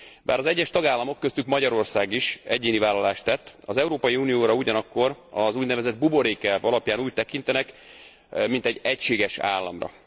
Bár az egyes tagállamok, köztük Magyarország is egyéni vállalást tett, az Európai Unióra ugyanakkor az úgynevezett buborékelv alapján úgy tekintenek mint egy egységes államra.